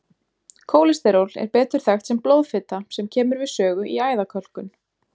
Kólesteról er betur þekkt sem blóðfita sem kemur við sögu í æðakölkun.